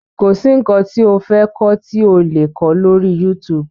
Kọ̀ sí nǹkan tí o fẹ́ kọ́ tí ò le kó lọ́rí YouTube.